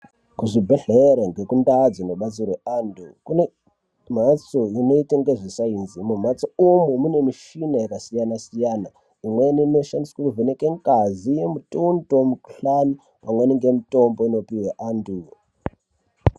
Kuzvibhedhlera nekundau dzinobatsira vantu kune mbatso inoite ngezvesainzi imomo, mhatso imomo mune michini yakasiyana, imweni inoshandiswa kuvheneke ngazi, mutondo, mukuhlani pamweni ngemutombo inopihwe antu.